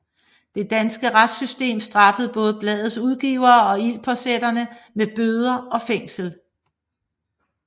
Det danske retssystem straffede både bladets udgivere og ildspåsætterne med bøder og fængsel